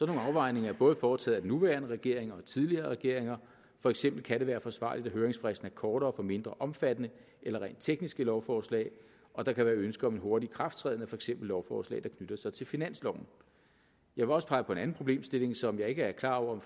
nogle afvejninger er både foretaget af den nuværende regering og af tidligere regeringer for eksempel kan det være forsvarligt at høringsfristen er kortere for mindre omfattende eller rent tekniske lovforslag og der kan være ønske om en hurtig ikrafttræden af for eksempel lovforslag der knytter sig til finansloven jeg vil også pege på en anden problemstilling som jeg ikke er klar over